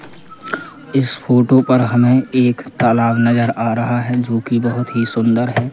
इस फोटो पर हमें एक तालाब नजर आ रहा है जो कि बहुत ही सुंदर है।